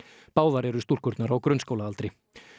báðar eru stúlkurnar á grunnskólaaldri